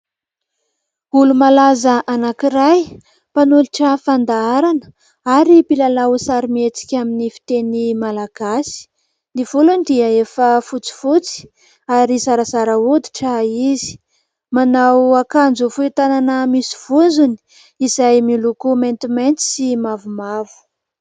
Olo-malaza anankiray mpanolotra fandaharana ary mpilalao sarimihetsika amin'ny fiteny malagasy. Ny volony dia efa fotsifotsy ary zarazara hoditra izy. Manao akanjo fohy tanana misy vozony izay miloko maintimainty sy mavomavo.